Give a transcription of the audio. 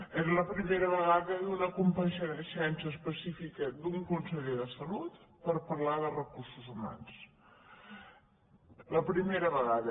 és la primera vegada d’una compareixença específica d’un conseller de salut per parlar de recursos humans la primera vegada